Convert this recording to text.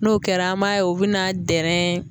N'o kɛra an b'a ye u bɛna dɛrɛɛɛ